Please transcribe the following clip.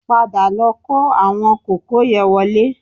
Padà lọ kó àwọn kòkó yẹ wọlé